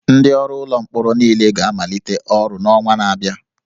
Ndị ọrụ ụlọ mkpọrọ niile ga-amalite ọrụ n'ọnwa na-abịa